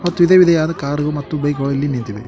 Car ಮತ್ತು ಬೈಕ್ ಗಳು ಇಲ್ಲಿ ನಿಂತಿವೆ.